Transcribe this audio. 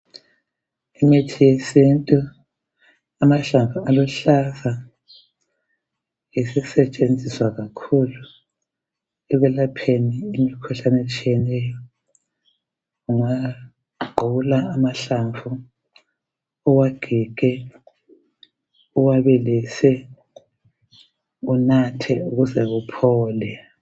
Imithi yesintu, amahlamvu aluhlaza isisentshenziswa kakhulu ekulapheni imikhuhlane etshiyeneyo. Ungagqula amahlamvu uwagige, uwabilise unathe ukuze uphole.